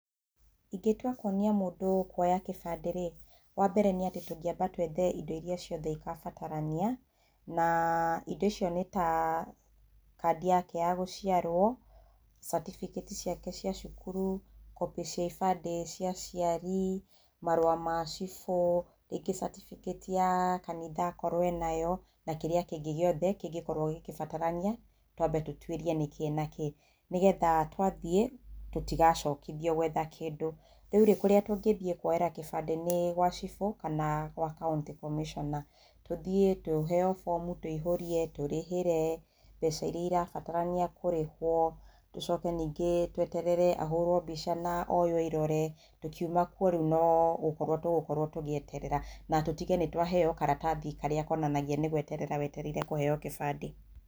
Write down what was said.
Ingĩtua kuonia mũndũ kuoya gĩbandĩ rĩ, wa mbere nĩ atĩ tũngĩamba twethe indo iria ciothe igabatarania, na indo icio nĩ ta: kandi yake ya gũciarwo, catibikĩti ciake cia cukuru, copy cia ibandĩ cia aciari, marũa ma cibũ, rĩngĩ catibikĩti ya kanitha akorwo enayo na kĩrĩa kĩngĩ gĩothe kĩngĩkorwo gĩgĩbatarania, twambe tũtuĩrie nĩkĩĩ na kĩĩ nĩgetha twathiĩ tũtigacokithio gwetha kĩndũ. Rĩu rĩ, kũrĩa tũngĩthiĩ kuoera kĩbandĩ nĩ gwa cibũ kana gwa county commissioner. Tũthiĩ tũheo bomu tũihũrie, tũrĩhĩre mbeca iria irabatarania kũrĩhwo, tũcoke ningĩ tweterere ahũrwo mbica na oywo irore, tũkiuma kuo rĩu no gũkorwo tũgũkorwo tũgĩeterera na tũtige nĩ twaheo karatathi karĩa konanagia nĩ gweterera wetereire kũheo gĩbandĩ.